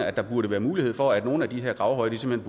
at der burde være mulighed for at nogle af de her gravhøje simpelt